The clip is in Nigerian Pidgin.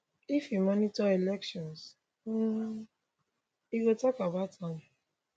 if e monitor election um e go tok about am